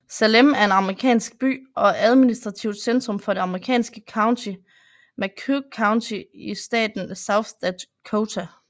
Salem er en amerikansk by og administrativt centrum for det amerikanske county McCook County i staten South Dakota